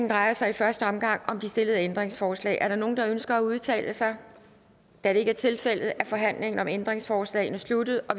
drejer sig i første omgang om de stillede ændringsforslag er der nogen der ønsker at udtale sig da det ikke er tilfældet er forhandlingen om ændringsforslagene sluttet og